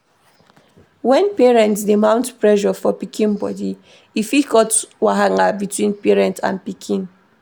When parents dey mount pressure for pikin body, e fit cause wahala between parent and pikin